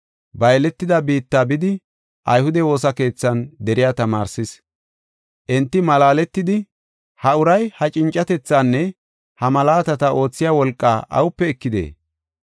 Ba yeletida biitta bidi ayhude woosa keethan deriya tamaarsis. Enti malaaletidi, “Ha uray ha cincatethaanne ha malaatata oothiya wolqaa awupe ekidee?